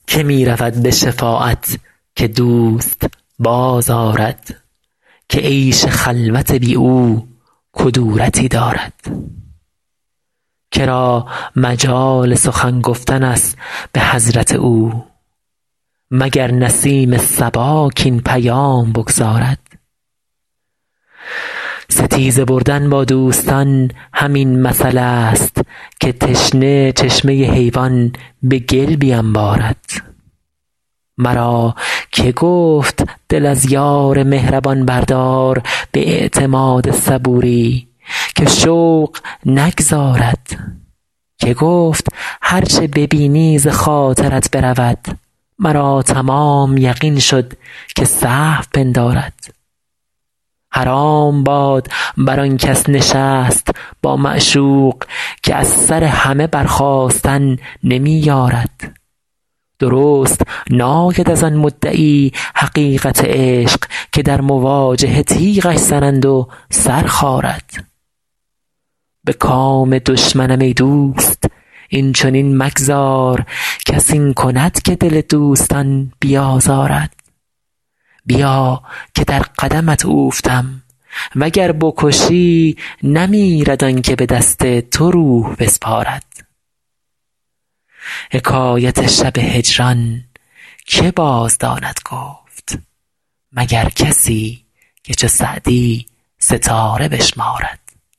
که می رود به شفاعت که دوست بازآرد که عیش خلوت بی او کدورتی دارد که را مجال سخن گفتن است به حضرت او مگر نسیم صبا کاین پیام بگزارد ستیزه بردن با دوستان همین مثلست که تشنه چشمه حیوان به گل بینبارد مرا که گفت دل از یار مهربان بردار به اعتماد صبوری که شوق نگذارد که گفت هر چه ببینی ز خاطرت برود مرا تمام یقین شد که سهو پندارد حرام باد بر آن کس نشست با معشوق که از سر همه برخاستن نمی یارد درست ناید از آن مدعی حقیقت عشق که در مواجهه تیغش زنند و سر خارد به کام دشمنم ای دوست این چنین مگذار کس این کند که دل دوستان بیازارد بیا که در قدمت اوفتم و گر بکشی نمیرد آن که به دست تو روح بسپارد حکایت شب هجران که بازداند گفت مگر کسی که چو سعدی ستاره بشمارد